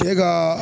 Bɛɛ ka